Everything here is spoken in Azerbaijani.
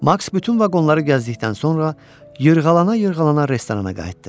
Maks bütün vaqonları gəzdikdən sonra yırğalana-yırğalana restorana qayıtdı.